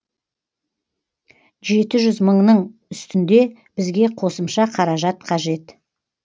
жеті жүз мыңның үстінде бізге қосымша қаражат қажет